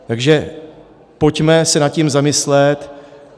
Takže pojďme se nad tím zamyslet.